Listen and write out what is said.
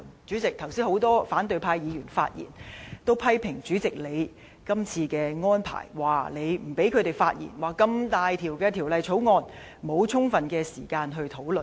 主席，剛才很多反對派議員發言都批評，主席你這次的安排，說你不讓他們發言，這麼重大的《條例草案》，沒有充分時間討論。